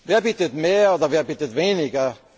Wer bietet mehr, oder wer bietet weniger?